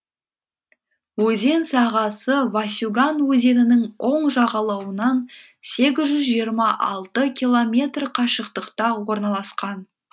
өзен сағасы васюган өзенінің оң жағалауынан сегіз жүз жиырма алты километр қашықтықта орналасқан